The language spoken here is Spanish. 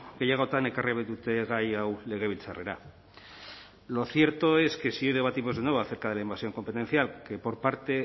gehiagotan ekarri baidute gai hau legebiltzarrera lo cierto es que si hoy debatimos de nuevo acerca de la invasión competencial que por parte